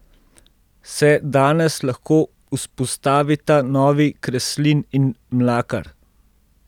Se danes lahko vzpostavita novi Kreslin in Mlakar?